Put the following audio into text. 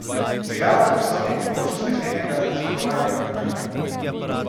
Cigaro prisloni k obroču steklenega, zmagovalnega vodnjaka.